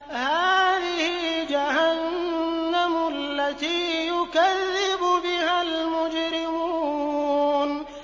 هَٰذِهِ جَهَنَّمُ الَّتِي يُكَذِّبُ بِهَا الْمُجْرِمُونَ